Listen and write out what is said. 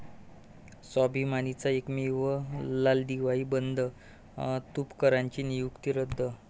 स्वाभिमानी'चा एकमेव लालदिवाही 'बंद', तुपकरांची नियुक्ती रद्द